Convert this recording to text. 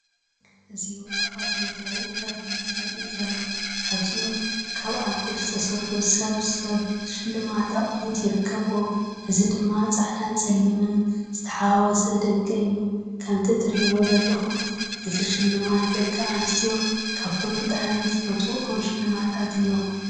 እዚ ውቁባት መጋየጺታት እዩ ዘርኢ ዘሎ። ካብዚኦም ካብ ኣልኮር ዝተሰርሑ ስብስብ ሽልማት ኣቑሑት ይርከብዎም፣ እዚ ድማ ጻዕዳን ጸሊምን ዝተሓዋወሰ ድንቂ እዩ። ከምቲ ትርእይዎ ዘለኹም እዚ ሽልማት ደቂ ኣንስትዮ ካብቶም ብጣዕሚ ዝፈትዎኦም ሽልማታት እዮም።